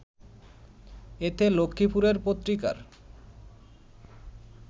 এতে লক্ষ্মীপুরের পত্রিকার